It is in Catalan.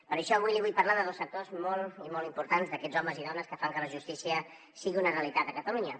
per això avui li vull parlar de dos sectors molt i molt importants d’aquests homes i dones que fan que la justícia sigui una realitat a catalunya